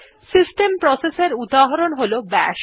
system process এর উদাহরণ হল বাশ